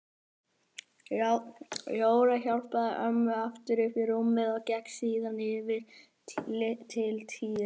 Jóra hjálpaði ömmu aftur upp í rúmið og gekk síðan yfir til Týra.